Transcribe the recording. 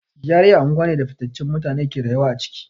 GRA anguwa ne da fitaccen mutane ke rayuwa a ciki.